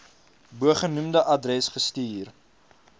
bogenoemde adres gestuur